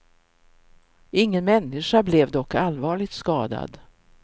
Ingen människa blev dock allvarligt skadad.